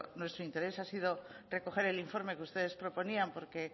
nuestro interés ha sido recoger el informe que ustedes proponían porque